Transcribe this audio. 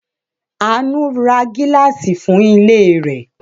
Àánú ra gíláàsì fún ilé rẹ̀.